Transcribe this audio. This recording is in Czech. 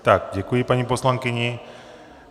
Tak děkuji paní poslankyni.